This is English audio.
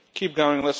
Keep going.